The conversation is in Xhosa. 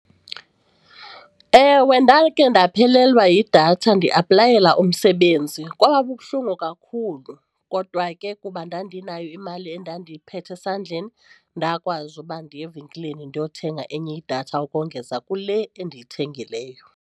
Ewe, ndakhe ndaphelelwa yidatha ndiaplayela umsebenzi, kwaba bubuhlungu kakhulu kodwa ke kuba ndandinayo imali endandiyiphethe esandleni ndakwazi uba ndiye evenkileni ndiyothenga enye idatha ukongeza kule endiyithengileyo.